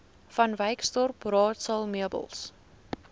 vanwyksdorp raadsaal meubels